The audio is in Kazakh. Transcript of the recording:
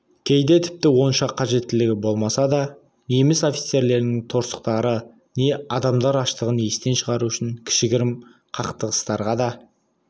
кейде тіпті онша қажеттілігі болмаса да неміс офицерлерінің торсықтары не адамдар аштығын естен шығару үшін кішігірім қақтығыстарға да